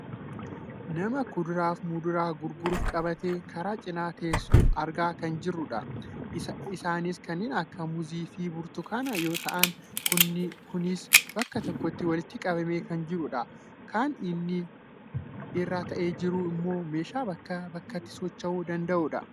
Nama kuduraaf muduraa gurguruuf qabattee karaa cinaa teessu argaa kan jirrujdha. Isaanis kanneen akka muuzii fi burtukanaa yoo ta'an kunis bakka tokkotti walitti qabamee kan jiruudha. Kan inni irra taa'ee jiru ammoo meeshaa bakkaa bakkatti socho'uu danda'udha.